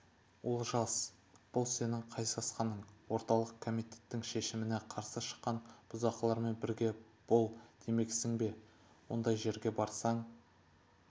олжас бұл сенің қай сасқаның орталық комитеттің шешіміне қарсы шыққан бұзақылармен бірге бол демексің бе ондай жерге барсаң